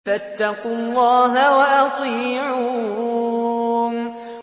فَاتَّقُوا اللَّهَ وَأَطِيعُونِ